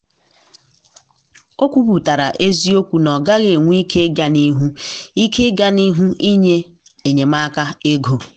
o kwuputara eziokwu na ọ gaghị enwe ike ịga n'ihu ike ịga n'ihu inye enyemaka ego.